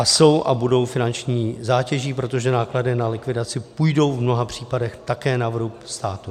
A jsou a budou finanční zátěží, protože náklady na likvidaci půjdou v mnoha případech také na vrub státu.